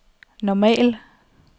normal